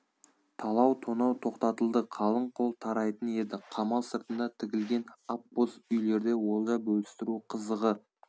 талау тонау тоқтатылды қалың қол тарайтын еді қамал сыртында тігілген ақ боз үйлерде олжа бөлістіру қызығы